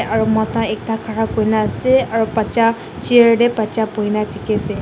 aro mota ekta khara kurina ase aru bacha chair tae bacha boina dikiase.